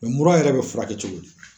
mura yɛrɛ be furakɛ cogo di?